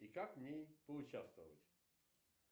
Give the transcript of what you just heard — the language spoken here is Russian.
и как в ней поучаствовать